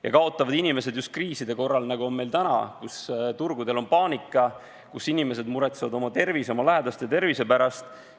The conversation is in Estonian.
Ja kaotavad inimesed just kriiside korral, nagu on meil praegu, kui turgudel on paanika, kui inimesed muretsevad oma ja oma lähedaste tervise pärast.